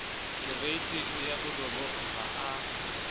kereiting ya borobong ha a